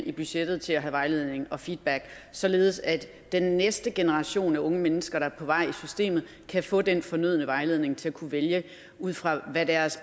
i budgettet til at have vejledning og feedback således at den næste generation af unge mennesker der er på vej i systemet kan få den fornødne vejledning til at kunne vælge ud fra hvad deres